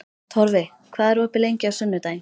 Torfi, hvað er opið lengi á sunnudaginn?